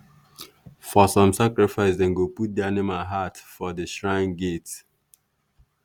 for some sacrifice dem go put the animal heart for the shrine gate.